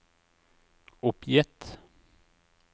oppgitt